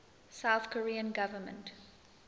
south korean government